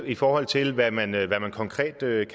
i forhold til hvad man konkret